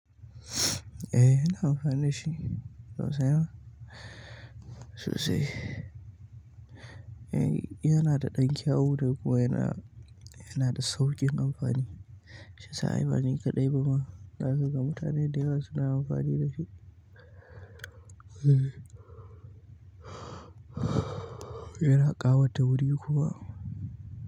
Eh ina amfani dashi saboda sai wa? Susai. Eh yana da ɗan kyawu ko yana, yana da sauƙin amfani. Sha sa ai bani kaɗai ba ma. Na ga mutane da yawa suna amfani da shi. Yana ƙawata wuri kuma.